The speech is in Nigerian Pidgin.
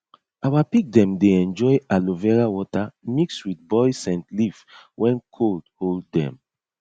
our pig dem dey enjoy aloe vera water mix with boiled scent leaf when cold hold dem